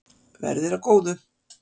Verði þér að góðu.